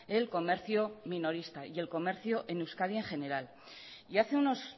el comercio minorista y el comercio en euskadi en general y hace unos